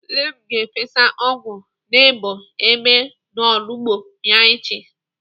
Nne m ga-efesa ọgwụ na-egbu Èbè n'olugbo ya echi.